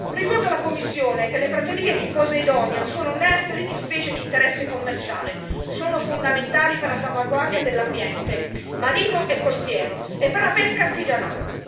Ricordo alla Commissione che le praterie di Posidonia sono nursery di specie di interesse commerciale, sono fondamentali per la salvaguardia dell'ambiente marino e costiero e per la pesca artigianale.